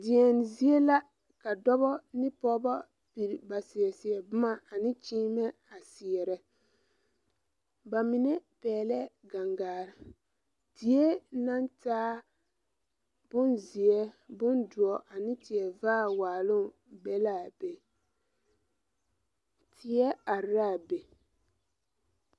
Deɛn zie la ka dɔbɔ ne pɔɔbɔ seɛ ba seɛ seɛ bomma ane kyiimɛ a seɛrɛ ba mine pɛglɛɛ gangare zie naŋ taa bonzeɛ bondoɔ ane tie vaare waaloŋ be la a be tie areaa be.